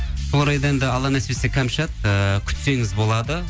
сол орайда енді алла нәсіп етсе кәмшат ыыы күтсеңіз болады